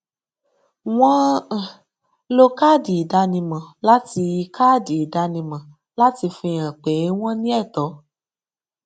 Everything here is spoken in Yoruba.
wọn um lo káàdì ìdánimọ láti káàdì ìdánimọ láti fi hàn pé wọn ní ẹtọ